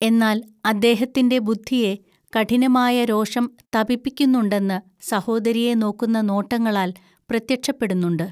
എന്നാൽ അദ്ദേഹത്തിന്റെ ബുദ്ധിയെ കഠിനമായ രോഷം തപിപ്പിക്കുന്നുണ്ടെന്ന് സഹോദരിയെ നോക്കുന്ന നോട്ടങ്ങളാൽ പ്രത്യക്ഷപ്പെടുന്നുണ്ട്